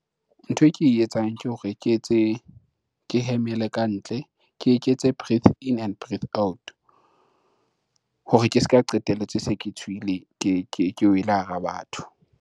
Ntho e ke e etsang ke hore ke etse ke, hemele kantle. Ke eketse breath in and breath out. Hore ke se ka qetelletse e se ke tshiwile ke wele hara batho.